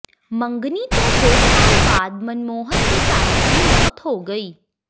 ਮੰਗਣੀ ਤੋਂ ਦੋ ਸਾਲ ਬਾਅਦ ਮਨਮੋਹਨ ਦੇਸਾਈ ਦੀ ਮੌਤ ਹੋ ਗਈ